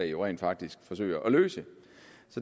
jo rent faktisk forsøger at løse